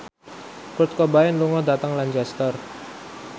Kurt Cobain lunga dhateng Lancaster